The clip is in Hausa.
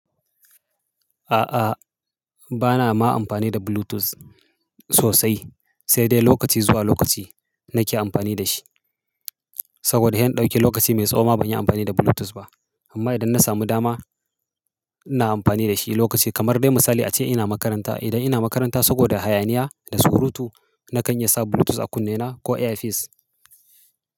A'a, bana ma amfani da Bluetooth sosai, sai dai lokaci zuwa lokaci nake amfani da shi. Saboda he in ɗauki lokaci mai tsawo ma ban yi amfani da Bluetooth ba. Amma idan na samu dama, ina amfani da shi lokaci kamar dai misali ace ina makaranta. Idan ina makaranta saboda hayaniya da surutu, na kan iya sa Bluetooth a kunnena ko AirPods.